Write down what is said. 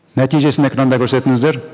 нәтижесін экранда көрсетіңіздер